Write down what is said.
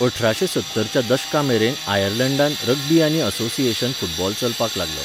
अठराशे सत्तरच्या दशकामेरेन आयर्लंडांत रग्बी आनी असोसिएशन फुटबॉल चलपाक लागलो.